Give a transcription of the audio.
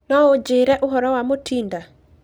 no ũnjĩĩre ũhoro wa Mutinda